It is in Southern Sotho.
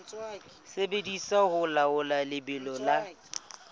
sebediswa ho laola lebelo la